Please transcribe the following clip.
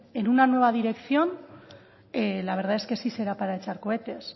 en una nueva dirección la verdad es que sí será para echar cohetes